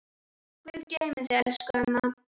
Guð geymi þig elsku amma.